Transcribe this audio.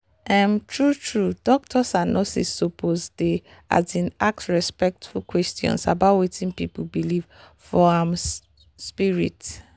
um true-true doctors and nurses suppose dey um ask respectful question about wetin people believe for um spirit.